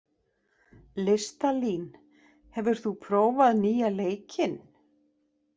Listalín, hefur þú prófað nýja leikinn?